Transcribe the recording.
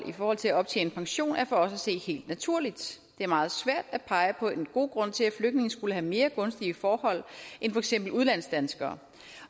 i forhold til at optjene pension er for os at se helt naturligt det er meget svært at pege på en god grund til at flygtninge skulle have mere gunstige forhold end for eksempel udlandsdanskere